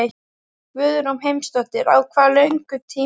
Guðrún Heimisdóttir: Á hvað löngum tíma?